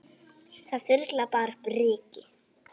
Það þyrlar bara upp ryki.